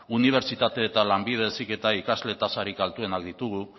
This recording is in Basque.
unibertsitate eta lanbide heziketan ikasle tasarik altuenak ditugu